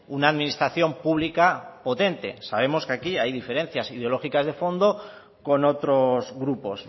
una administración pública potente sabemos que aquí hay diferencias ideológicas de fondo con otros grupos